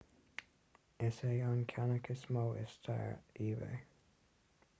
is é an ceannach is mó i stair ebay